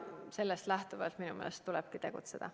Sellest lähtuvalt minu meelest tulebki tegutseda.